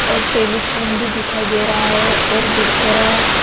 और टेलीफोन भी दिखाई दे रहा है और बिस्तरा--